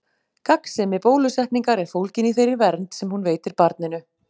Gagnsemi bólusetningar er fólgin í þeirri vernd sem hún veitir barninu.